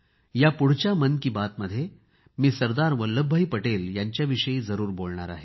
यापुढच्या मन की बातमध्ये मी सरदार वल्लभभाई पटेल यांच्याविषयी जरूर बोलणार आहे